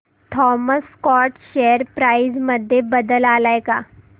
Thomas Scott share price मध्ये बदल आलाय का